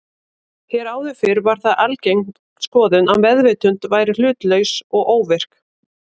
Hér áður fyrr var það algeng skoðun að meðvitund væri hlutlaus og óvirk.